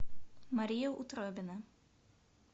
мария утробина